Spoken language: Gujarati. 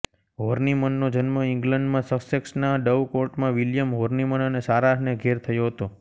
હોર્નીમનનો જન્મ ઇંગ્લન્ડમાં સસેક્સના ડવ કોર્ટમાં વિલિયમ હોર્નિમન અને સારાહને ઘેર થયો હતો